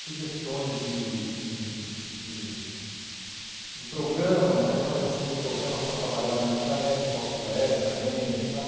sugestões de de de de de programas e atualização de programas para trabalhar na intranet, softwares também, sabe?